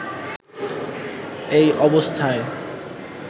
এই অবস্থায়